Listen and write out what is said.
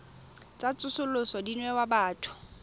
tsa tsosoloso di newa batho